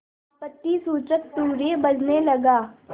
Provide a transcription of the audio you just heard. आपत्तिसूचक तूर्य बजने लगा